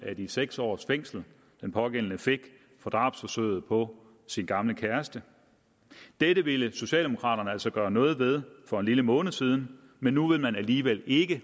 af de seks års fængsel den pågældende fik for drabsforsøget på sin gamle kæreste dette ville socialdemokraterne altså gøre noget ved for en lille måned siden men nu vil man alligevel ikke